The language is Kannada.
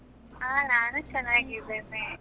ಹಾ ನಾನು ಚನ್ನಾಗಿದ್ದೇನೆ.